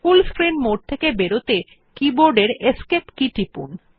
ফুল screen mode থেকে বেরোতে keyboard এর এসকেপ কী টিপুন